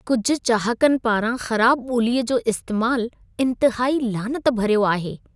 कुझु चाहकनि पारां ख़राब ॿोलीअ जो इस्तेमाल इंतिहाई लानत भरियो आहे।